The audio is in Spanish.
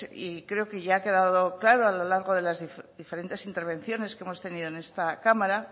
y creo que ya ha quedado claro a lo largo de las diferentes intervenciones que hemos tenido en esta cámara